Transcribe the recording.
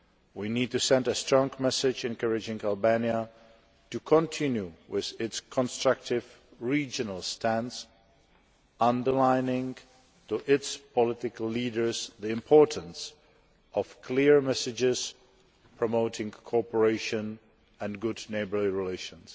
We need to send a strong message encouraging Albania to continue with its constructive regional stance, emphasising to its political leaders the importance of clear messages promoting cooperation and good neighbourly relations.